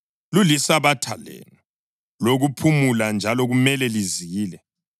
Lulisabatha lenu lokuphumula njalo kumele lizile.